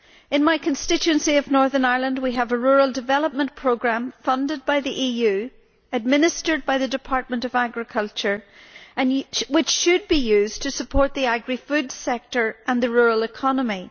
In my constituency of Northern Ireland we have a rural development programme funded by the EU, administered by the Department of Agriculture which should be used to support the agrifood sector and the rural economy.